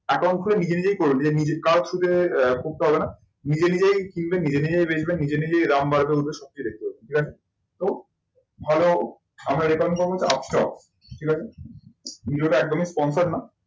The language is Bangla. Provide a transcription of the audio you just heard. Account খুলে নিজে নিজেই করে নেবে কারো সাথে আহ করতে হবে না। নিজে নিজেই কিনবে নিজে নিজেই বেজবে নিজে নিজেই দাম বাড়বে উঠবে সব কিছু দেখতে পাবে ভালো আমরা আপ স্টক ঠিক আছে। video টা একদমই sponsored না